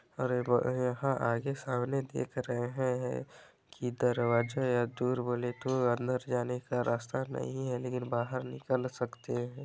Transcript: अरे ब यहाँ आगे सामने देख रहे है की दरवाजा या दूर वाले टूर तो अंदर जाने का रास्ता नहीं है लेकिन बाहर निकल सकते है।